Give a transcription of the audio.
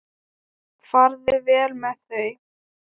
Farðu vel með þau.